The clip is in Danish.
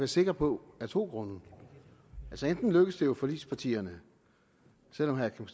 sikker på at to grunde enten lykkes det jo forligspartierne selv om herre kim